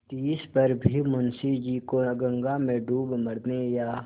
तिस पर भी मुंशी जी को गंगा में डूब मरने या